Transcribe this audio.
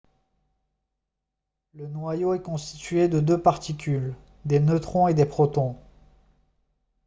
le noyau est constitué de deux particules des neutrons et des protons